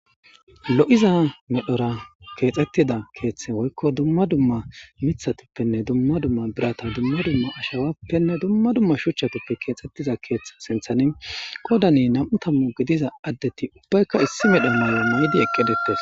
lo'iza medhora keexxettida keeththe woykko dumma dumma mithatippenne dumma dumma birata dumma dumma ashawappenne dumma dumma shuchchatuppe keexxettiza keeththe sinthani qodani nam'u tammu gidiza addeti ubbaykka issi medho mayo maydi eqqidettes